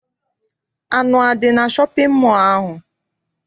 Anụ adị na shọpịn mọọ ahụ?